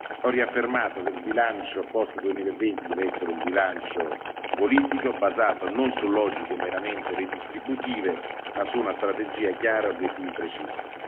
Ho riaffermato che il bilancio post 2020 deve essere un bilancio politico, basato non su logiche meramente redistributive ma su una strategia chiara e obiettivi precisi.